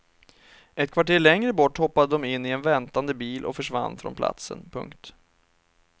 Ett kvarter längre bort hoppade de in i en väntande bil och försvann från platsen. punkt